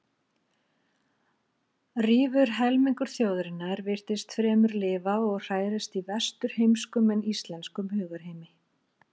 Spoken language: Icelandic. Rífur helmingur þjóðarinnar virtist fremur lifa og hrærast í vesturheimskum en íslenskum hugarheimi.